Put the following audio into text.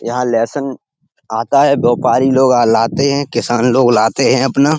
यहाँ लहसन आता है। व्योपारी लोग अ लाते हैं। किसान लोग लाते हैं अपना --